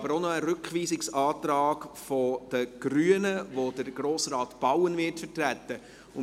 Wir haben auch noch einen Rückweisungsantrag der Grünen, den Grossrat Bauen vertreten wird.